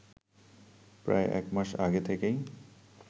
প্রায় এক মাস আগে থেকেই